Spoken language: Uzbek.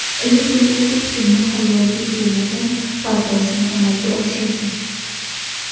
Lekin u hech kimning xayoliga kelmagan pardozni amalga oshirdi.